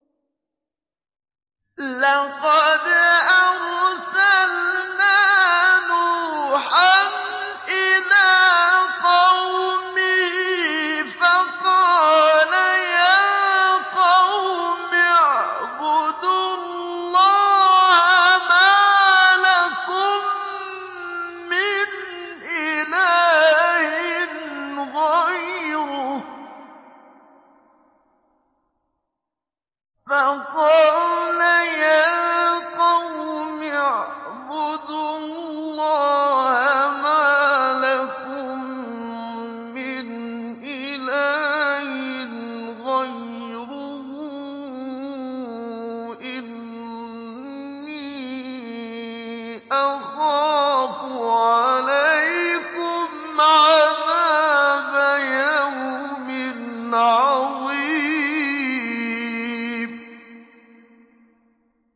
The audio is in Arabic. لَقَدْ أَرْسَلْنَا نُوحًا إِلَىٰ قَوْمِهِ فَقَالَ يَا قَوْمِ اعْبُدُوا اللَّهَ مَا لَكُم مِّنْ إِلَٰهٍ غَيْرُهُ إِنِّي أَخَافُ عَلَيْكُمْ عَذَابَ يَوْمٍ عَظِيمٍ